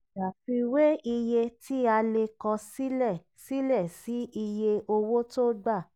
ṣàfiwé iye ti a le kọ silẹ̀ silẹ̀ sí iye owó tó gbà.